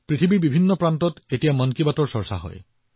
মন কী বাতৰ বিষয়ে পৃথিৱীৰ বিভিন্ন কোণত আলোচনা কৰা হয়